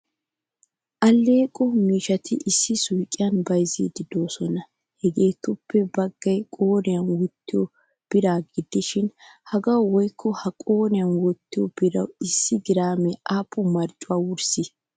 Alleqo miishshati issi suuqiyan bayzzidi deosona. Hagettuppe baggaay qoriyan wottiyo biraa gidishin hagawu woykko ha qoriyan wottiyo birawu issi girame appun marccuwaa wurssi?